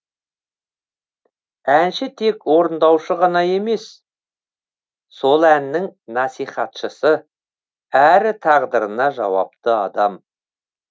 әнші тек орындаушы ғана емес сол әннің насихатшысы әрі тағдырына жауапты адам